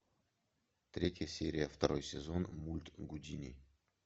третья серия второй сезон мульт гудини